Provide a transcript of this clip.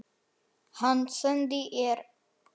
Hann sendi ég utan.